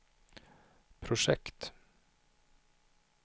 projekt